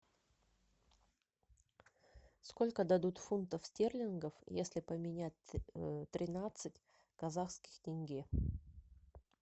сколько дадут фунтов стерлингов если поменять тринадцать казахских тенге